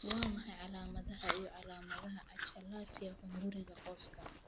Waa maxay calaamadaha iyo calaamadaha achalasia hunguriga qoyska?